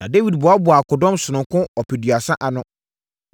Na Dawid boaboaa akodɔm sononko ɔpeduasa ano.